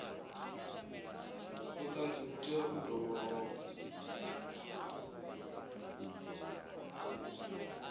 vhuṱanzi vhu tea u dovhololwa